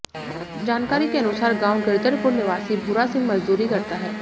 जानकारी के अनुसार गांव गिरधरपुर निवासी भूरा सिंह मजदूरी करता है